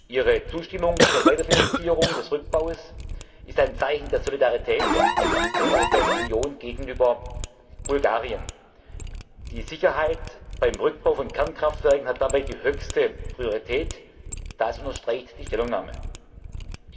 Ihre Zustimmung zur Weiterfinanzierung des Rückbaus ist ein Zeichen der Solidarität der Europäischen Union gegenüber Bulgarien. Die Sicherheit beim Rückbau von Kernkraftwerken hat dabei höchste Priorität, das wird in der Stellungnahme betont.